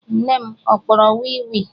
Nne m ọ kpọrọ wii wii?